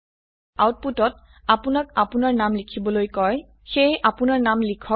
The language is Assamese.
আউটপুটত আপনাক আপনাৰ নাম লিখিবলৈ কয় সেয়ে আপনৰ নাম লিখক